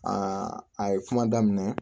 Aa a ye kuma daminɛ